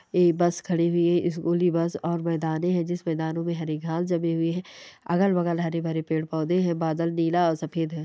ए bus खड़ी हुई है स्कूल की बस और मैदाने है जिस मैदानो में हरी घास जमी हुई है अगल-बगल हरे-भरे पेड़-पौधे हैं बादल नीला और सफेद हैं ।